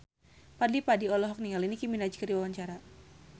Fadly Padi olohok ningali Nicky Minaj keur diwawancara